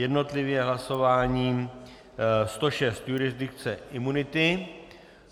Jednotlivě hlasováním - 106, jurisdikce imunity.